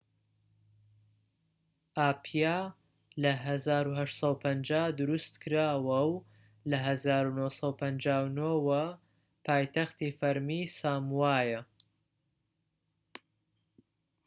ئاپیا لە ١٨٥٠ دروستکراوە و لە ١٩٥٩ ەوە پایتەختی فەرمیی ساموایە